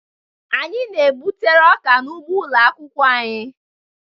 Anyị na-gbutere ọka n'ugbo ụlọ akwụkwọ anyị